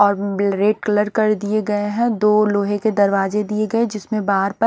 और बेल red colour कर दिये गये है दो लोहे के दरवाजे दिये गए जिसमें बाहर प--